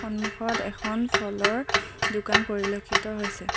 সন্মুখত এখন ফলৰ দোকান পৰিলক্ষিত হৈছে।